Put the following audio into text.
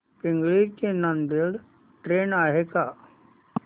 पिंगळी ते नांदेड ट्रेन आहे का